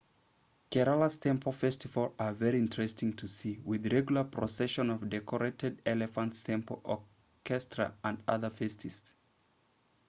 kerala's temple festivals are very interesting to see with regular procession of decorated elephants temple orchestra and other festivities